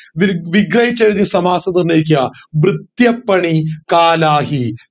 will വിഗ്രഹിച്ചെഴുതി സമാസം നിർണയിക്കുക വൃത്യപണി കാലാഹി